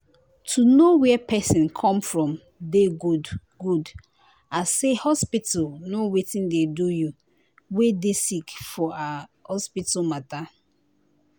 to know where pesin come from dey good good as say hospital know wetin dey do you wey dey sick for ah hospital matter.